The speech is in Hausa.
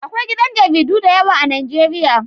Akwai gidan jaridu da yawa a Nijeriya